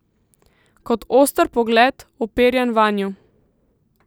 Kot oster pogled, uperjen vanju.